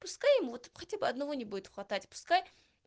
пускай вот хотя бы одного не будет хватать пускай